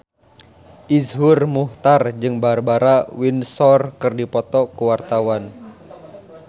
Iszur Muchtar jeung Barbara Windsor keur dipoto ku wartawan